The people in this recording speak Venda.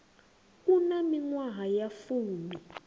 a na miṅwaha ya fumi